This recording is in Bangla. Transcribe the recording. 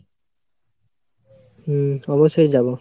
হম অবশই যাবো